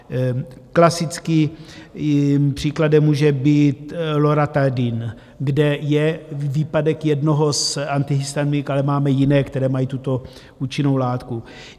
Klasickým příkladem může být Loratadin, kde je výpadek jednoho z antihistaminik, ale máme jiné, které mají tuto účinnou látku.